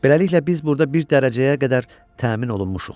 Beləliklə biz burda bir dərəcəyə qədər təmin olunmuşuq.